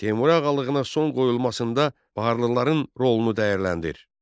Teymuri ağalığına son qoyulmasında Baharlıların rolunu dəyərləndir.